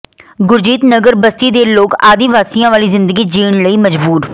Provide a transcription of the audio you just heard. ਗੁਰਜੀਤ ਨਗਰ ਬਸਤੀ ਦੇ ਲੋਕ ਆਦਿ ਵਾਸੀਆਂ ਵਾਲੀ ਜ਼ਿੰਦਗੀ ਜੀਣ ਲਈ ਮਜਬੂਰ